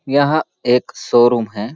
यह एक showroom है।